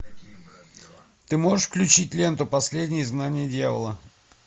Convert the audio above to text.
ты можешь включить ленту последнее изгнание дьявола